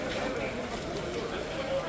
O biraz səhvdir.